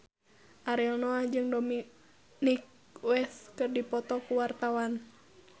Ariel Noah jeung Dominic West keur dipoto ku wartawan